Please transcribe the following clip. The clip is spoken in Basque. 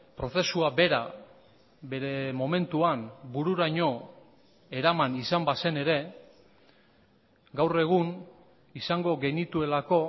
prozesua bera bere momentuan bururaino eraman izan bazen ere gaur egun izango genituelako